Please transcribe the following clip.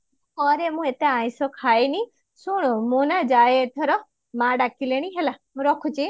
ଘରେ ମୁଁ ଏତେ ଆଇଂଷ ଖାଏନି ଶୁଣୁ ମୁଁ ନା ଯାଏ ଏଥର ମା ଡାକିଲେଣି ହେଲା ମୁଁ ରଖୁଛି